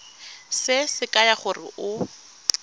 se se kaya gore o